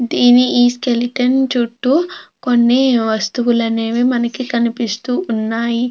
దీని ఈ స్కెలిటన్ చుట్టు కొన్ని వస్తువులు అనేవి మనకి కనిపిస్తూ ఉన్నాయి.